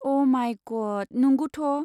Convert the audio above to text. अ' माइ गड, नंगौथ'।